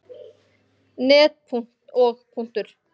net og.